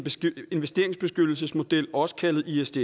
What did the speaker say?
investeringsbeskyttelsesmodel også kaldet isds